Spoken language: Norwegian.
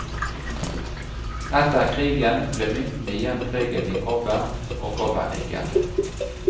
Etter krigen ble myntene igjen preget i kobber og kobbernikkel.